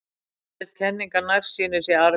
Það er útbreidd kenning að nærsýni sé arfgeng.